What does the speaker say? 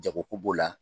Jago ko b'o la